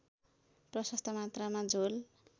प्रशस्त मात्रामा झोल